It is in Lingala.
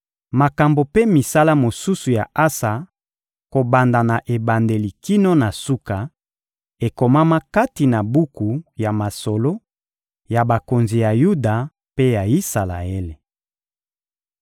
Makambo mpe misala mosusu ya Asa, kobanda na ebandeli kino na suka, ekomama kati na buku ya masolo ya bakonzi ya Yuda mpe ya Isalaele.